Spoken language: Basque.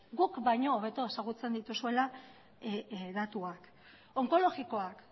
guk baino hobeto ezagutzen dituzuela datuak onkologikoak